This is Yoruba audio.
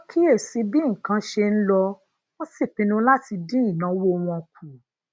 wón kíyè sí bí nǹkan ṣe ń lọ wón sì pinnu láti dín ìnáwó wọn kù